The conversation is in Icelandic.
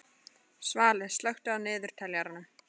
Svali, slökktu á niðurteljaranum.